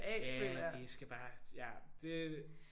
Ja de skal bare ja. Det